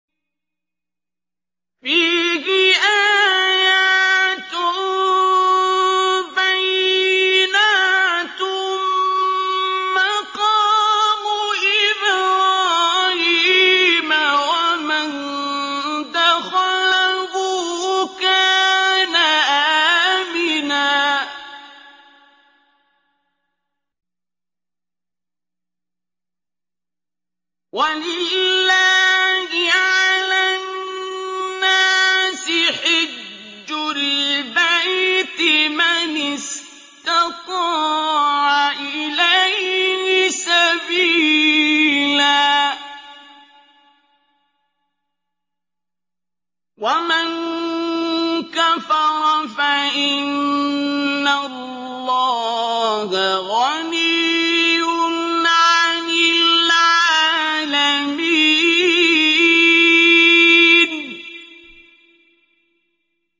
فِيهِ آيَاتٌ بَيِّنَاتٌ مَّقَامُ إِبْرَاهِيمَ ۖ وَمَن دَخَلَهُ كَانَ آمِنًا ۗ وَلِلَّهِ عَلَى النَّاسِ حِجُّ الْبَيْتِ مَنِ اسْتَطَاعَ إِلَيْهِ سَبِيلًا ۚ وَمَن كَفَرَ فَإِنَّ اللَّهَ غَنِيٌّ عَنِ الْعَالَمِينَ